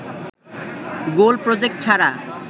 গোল project ছাড়া